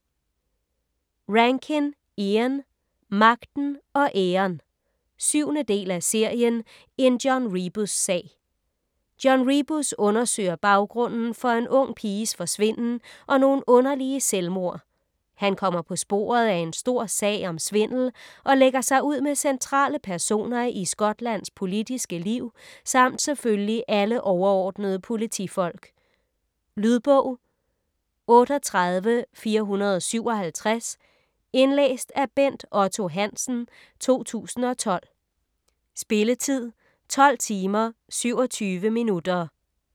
Rankin, Ian: Magten og æren 7. del af serien En John Rebus-sag. John Rebus undersøger baggrunden for en ung piges forsvinden og nogle underlige selvmord. Han kommer på sporet af en stor sag om svindel og lægger sig ud med centrale personer i Skotlands politiske liv samt selvfølgelig alle overordnede politifolk. Lydbog 38457 Indlæst af Bent Otto Hansen, 2012. Spilletid: 12 timer, 27 minutter.